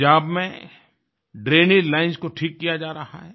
पंजाब में drainage lines को ठीक किया जा रहा है